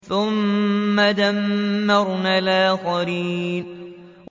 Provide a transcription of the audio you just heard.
ثُمَّ دَمَّرْنَا الْآخَرِينَ